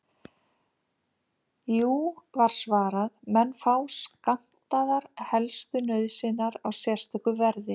Jú, var svarað, menn fá skammtaðar helstu nauðsynjar á sérstöku verði.